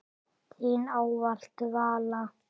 Þín ávallt, Vala.